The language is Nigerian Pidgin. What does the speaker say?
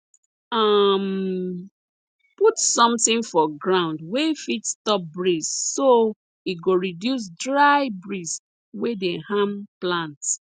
um put sometin for ground wey fit stop breeze so e go reduce dry breeze wey dey harm plants